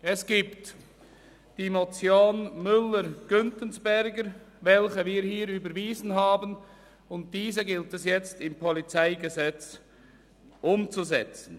Es gibt die Motion Müller/Güntensperger, welche wir hier überwiesen haben, und diese gilt es jetzt im PolG umzusetzen.